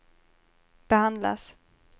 behandlas